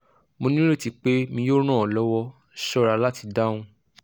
mo nireti pe mi yoo ran ọ lọwọ ṣọra lati dahun